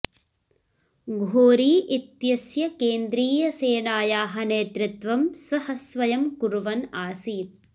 घोरी इत्यस्य केन्द्रीयसेनायाः नेतृत्वं सः स्वयं कुर्वन् आसीत्